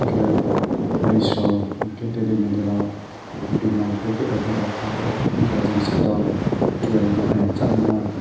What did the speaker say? hingke leys rok hingke teri meri rok bimol packet pa tongo hingke jang site o sanai ma pho.